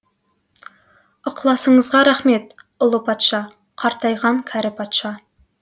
ықыласыңызға рақмет ұлы патша қартайған кәрі патша